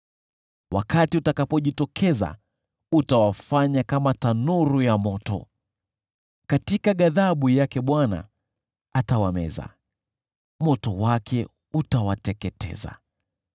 Wakati utakapojitokeza utawafanya kama tanuru ya moto. Katika ghadhabu yake Bwana atawameza, moto wake utawateketeza.